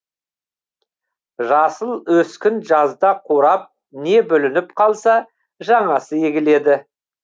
жасыл өскін жазда қурап не бүлініп қалса жаңасы егіледі